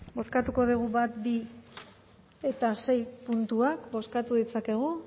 bale oso ondo bozkatuko ditugu bat bi eta sei puntuak bozkatu ditzakegu